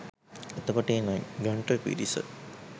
එතකොට ඒ නිගණ්ඨ පිරිස